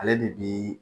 Ale de bi